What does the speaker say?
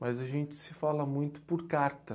Mas a gente se fala muito por carta.